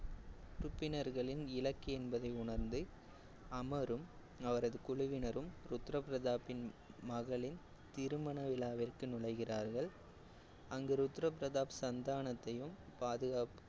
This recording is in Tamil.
உறுப்பினர்களின் இலக்கு என்பதை உணர்ந்து அமரும் அவரது குழுவினரும் ருத்ர பிரதாப்பின் மகளின் திருமண விழாவிற்கு நுழைகிறார்கள். அந்து ருத்ர பிரதாப் சந்தானத்தையும் பாதுக்காப்பு